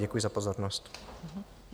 Děkuji za pozornost.